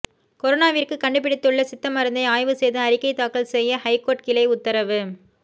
கொரோனாவிற்கு கண்டுபிடித்துள்ள சித்த மருந்தை ஆய்வு செய்து அறிக்கை தாக்கல் செய்ய ஐகோர்ட் கிளை உத்தரவு